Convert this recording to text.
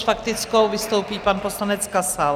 S faktickou vystoupí pan poslanec Kasal.